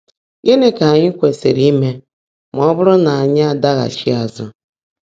Gị́ní kà ányị́ kwèsị́rị́ íme má ọ́ bụ́rụ́ ná ányị́ ádàgháchi ázụ́?